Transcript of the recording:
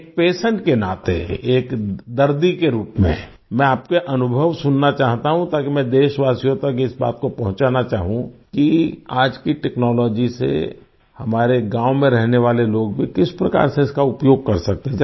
एक पेशेंट के नाते एक दर्दी के रूप में मैं आपके अनुभव सुनना चाहता हूँ ताकि मैं देशवासियों तक इस बात को पहुँचाना चाहूँ कि आज की टेक्नोलॉजी से हमारे गाँव में रहने वाले लोग भी किस प्रकार से इसका उपयोग भी कर सकते हैं